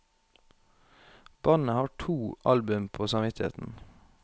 Bandet har to album på samvittigheten.